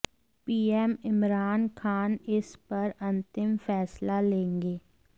PM Imran Khan इस पर अंतिम फैसला लेंगे